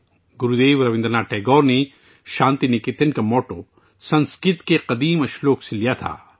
گرودیو رابندر ناتھ ٹیگور نے ایک قدیم سنسکرت شعر سے شانتی نکیتن کا نعرہ لیا تھا